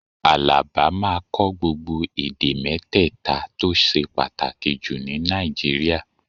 Àlàbá máa kọ́ gbogbo èdè mẹ́tẹ̀ta tó ṣe pàtàkì jù ní Nàìjíríà